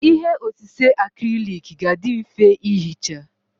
Ihe osise acrylic ga-adị mfe ihicha.